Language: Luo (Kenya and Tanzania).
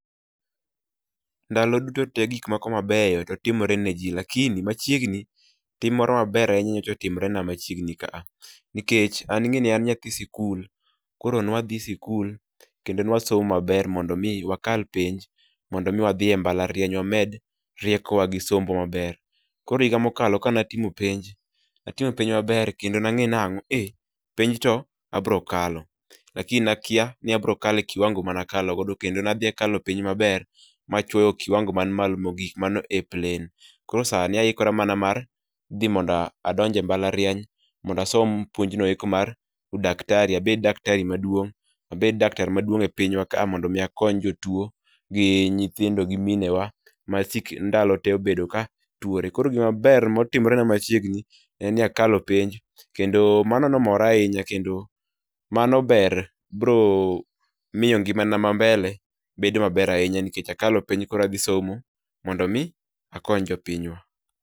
Ndalo duto tee gik moko mabeyo timore ne jii lakini machiegni tim moro maber ahinya nyicha otimore na machiegni ka nikech an ing'eni an nyathi sikul, koro nwaadhi sikul kendo nwasomo maber mondo mi wakal penj mondo mi wadhi e mbalariany wamed rieko wa gi sombwa maber..Koro higa mokalo kane atimo penj, atimo penj maber kendo nang'e nango, eeh, penj to nabro kalo lakini nakia ni abro kalo e kiwango mana kalo go kendo ne adhi akalo penj maber machuoyo kiwango man malo mogik, manol A-plain. Koro sani aikora mondo mi adonj e mbalarianyhmondo asom puonj noeko mar udaktari, abed daktari[csc] maduong, abed daktar maduong e pinywa ka mondo akony jotuo gi nyithindo gi minewa ma sik ndalo tee osebdo katuore. Koro gima ber motimore na machiegni en ni akalo penj kendo mano ne omora ahinya kendo mano ber biro miyo ngimana ma mbele bedo maber ahinya nikech akalo penj koro adhi somo mondo mi akony jopinywa